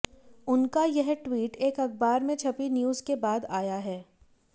उनका यह ट्वीट एक अखबार में छपी न्यूज के बाद आया है